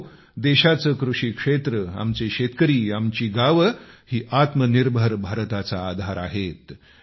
मित्रहो देशाचे कृषी क्षेत्र आमचे शेतकरी आमची गावे ही आत्मनिर्भर भारताचा आधार आहेत